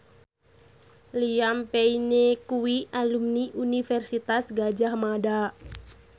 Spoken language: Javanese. Liam Payne kuwi alumni Universitas Gadjah Mada